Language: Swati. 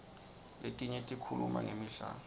letinye tikhuluma ngemidlalo